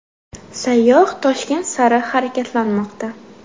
Sayyoh Toshkent sari harakatlanmoqda.